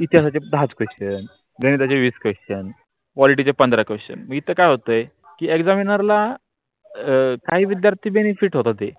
इतिहासाचे दहा question गणिताचे विस question quality पंधरा question इत काय होतोय कि examiner काही विद्यार्थी benefit होता ते